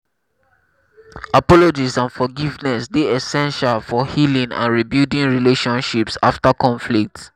apologies and forgiveness dey essential for healing and rebuilding relationships after conflicts.